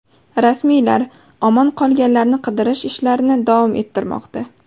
Rasmiylar omon qolganlarni qidirish ishlarini davom ettirmoqda.